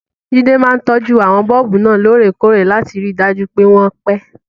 Jide máa ń tọ́jú àwọn bọ́ọ̀bù náà lóòrèkóòrè láti rí i dájú pé wọ́n pẹ́.